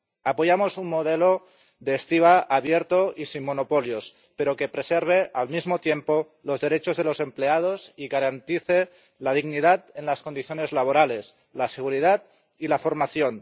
Apoyamos un modelo de estiba abierto y sin monopolios, pero que preserve, al mismo tiempo, los derechos de los empleados y garantice la dignidad en las condiciones laborales, la seguridad y la formación.